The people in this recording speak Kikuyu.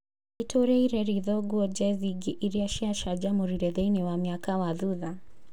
Nĩtũrĩire ritho nguo jezi ingĩ iria cia canjamũrire thĩinĩ wa mĩaka wa thutha